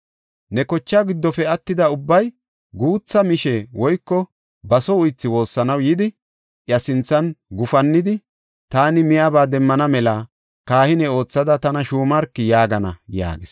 Ne kochaa giddofe attida ubbay guutha miishe woyko baso uythi woossanaw yidi, iya sinthan gufannidi, ‘Taani miyaba demmana mela kahine oothada tana shuumarki’ yaagana” yaagis.